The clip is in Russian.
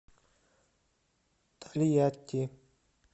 тольятти